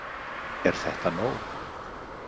Er þetta nóg?